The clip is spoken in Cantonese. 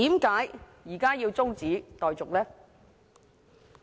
為何現時要中止待續？